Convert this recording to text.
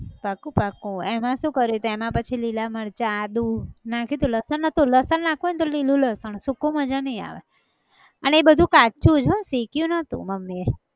પાક્કું પાક્કું એમાં શું કર્યું હતું એમાં પછી લીલાં મરચાં આદુ નાખ્યું હતું લસણ નતું, લસણ નાખવું હોય ને તો લીલું લસણ સૂકું મજા નઈ આવે, અને એ બધું કાચું જ હઃ શેક્યું નહોતું મમ્મી એ